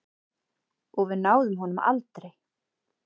Og við náðum honum aldrei.